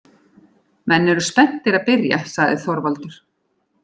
Menn eru spenntir að byrja, sagði Þorvaldur.